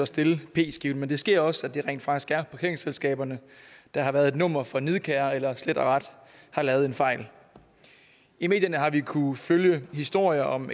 stille p skiven men det sker også at det rent faktisk er parkeringsselskaberne der har været et nummer for nidkære eller slet og ret har lavet en fejl i medierne har vi kunnet følge historier om